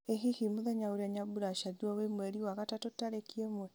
ĩ hihi mũthenya ũrĩa nyambura aciarirwo wĩ mweri wa gatatũ tarĩki ĩmwe